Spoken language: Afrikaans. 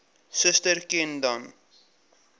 suster ken dan